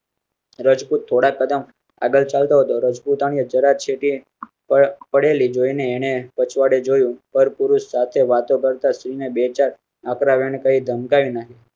રજપૂત થોડાં કદમ આગળ ચાલ તો હતો. રજપૂતાણી છે તે પડેલી જોઇ ને એણે પછવાડે જોયું. પરપુરુષ સાથે વાત કરતા સ્ત્રી ને બે ચાર હકરાવી ધમકાવી નાખી